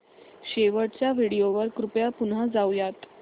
शेवटच्या व्हिडिओ वर कृपया पुन्हा जाऊयात